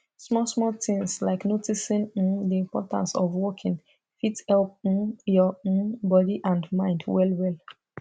small small things like noticing um the importance of walking fit help um your um body and mind well well